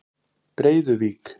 Breiðuvík